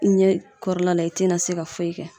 Ɲɛ kɔrɔla la i te na se ka foyi kɛ